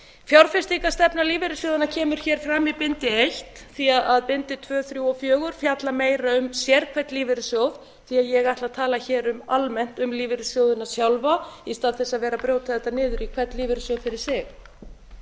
fjárfestingarstefna lífeyrissjóðanna kemur hér fram í bindi eitt því að bindi tvö þrjú og fjögur fjalla meira um sérhvern lífeyrissjóð ég ætla að tala hér almennt um lífeyrissjóðina sjálfa í stað þess að vera að brjóta þetta niður í hvern lífeyrissjóð fyrir sig áður